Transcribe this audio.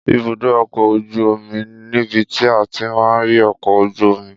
Ìbúdò ọkọ òjú òmí nibiti àtí mà ri ọkọ òjú òmí